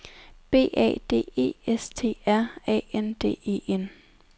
B A D E S T R A N D E N